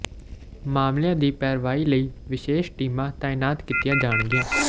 ਮਾਮਲਿਆਂ ਦੀ ਪੈਰਵੀ ਲਈ ਵਿਸ਼ੇਸ਼ ਟੀਮਾਂ ਤਾਇਨਾਤ ਕੀਤੀਆਂ ਜਾਣਗੀਆਂ